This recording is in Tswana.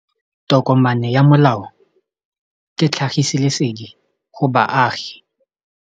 Tokomane ya molao ke tlhagisi lesedi go baagi.